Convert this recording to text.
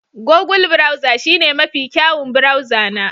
Google browser shine mafi kyawun burauza na